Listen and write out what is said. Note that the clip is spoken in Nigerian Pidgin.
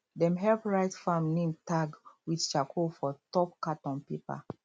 dem help write farm name tag with charcoal for top carton paper